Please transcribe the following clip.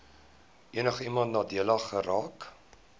enigiemand nadelig geraak